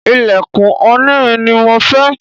ilẹ̀kùn onírin ni mo fẹ́